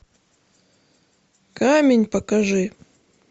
камень покажи